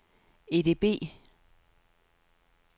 EDB